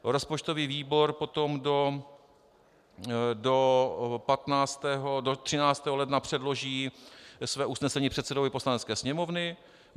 Rozpočtový výbor potom do 13. ledna předloží své usnesení předsedovi Poslanecké sněmovny.